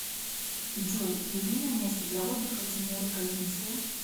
джой любимое место для отдыха тимура козинцева